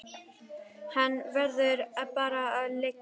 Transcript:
Hann verður bara að liggja.